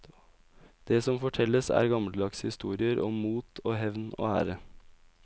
Det som fortelles, er gammeldagse historier om mot og hevn og ære.